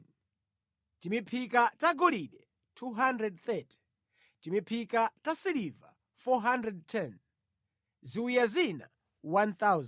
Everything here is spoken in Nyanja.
timiphika tagolide 230 timiphika tasiliva 410 ziwiya zina 1,000.